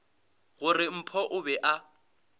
gore mpho o be a